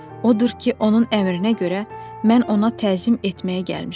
Odur ki, onun əmrinə görə mən ona təzim etməyə gəlmişəm.